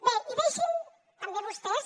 bé i deixin me també vostès